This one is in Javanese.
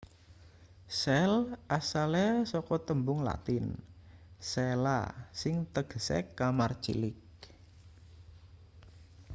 sel asale saka tembung latin cella sing tegese kamar cilik